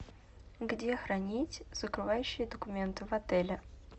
где хранить закрывающие документы в отеле